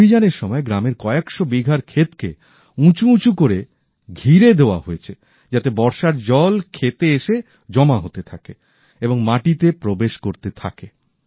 এই অভিযানের সময় গ্রামের কয়েকশো বিঘার ক্ষেতকে উঁচু উঁচু করে ঘিরে দেয়া হয়েছে যাতে বর্ষার জল খেতে এসে জমা হতে থাকে এবং মাটিতে প্রবেশ করতে থাকে